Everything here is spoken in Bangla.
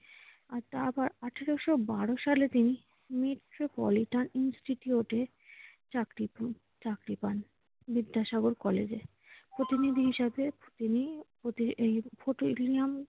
তারপর আঠারোশ বারো সালে তিনি মেট্রোপলিটন ইনস্টিটিউটে চাকরি পান~ চাকরি পান বিদ্যাসাগর কলেজে। প্রতিনিধি হিসাবে তিনি প্রতি ফোর্ট উইলিয়াম